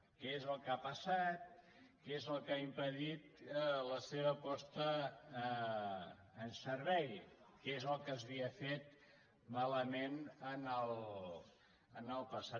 què és el que ha passat què és el que ha impedit la seva posada en ser·vei que és el que s’havia fet malament en el passat